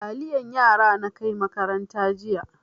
Taliyan yara na kai makaranta jiya.